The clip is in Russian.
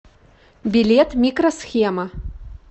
билет микро схема